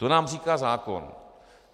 To nám říká zákon.